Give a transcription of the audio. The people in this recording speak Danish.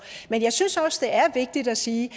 men jeg synes da også det er vigtigt at sige